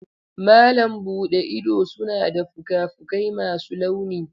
Malam buɗe ido suna da fuka-fukai masu launi.